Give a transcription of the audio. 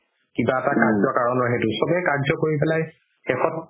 কিবা এটা কাৰ্য কাৰণৰ সেইটো চবেই কাৰ্য কৰি পেলাই শেষত